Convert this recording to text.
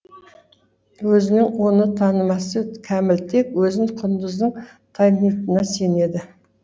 өзінің оны танымасы кәміл тек өзін құндыздың танитынына сенеді